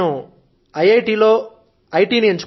అందుకే నేను ఐఐటి లో ఐ